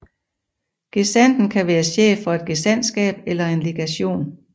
Gesandten kan være chef for et gesandtskab eller en legation